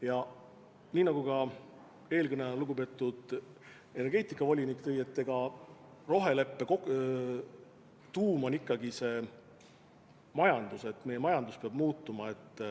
Ja nii nagu ka eelkõneleja, lugupeetud energeetikavolinik märkis: roheleppe tuum on ikkagi see, et meie majandus peab muutuma.